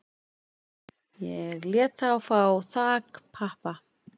Ég lét þá fá þakpappa